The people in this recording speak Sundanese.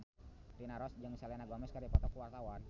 Rina Nose jeung Selena Gomez keur dipoto ku wartawan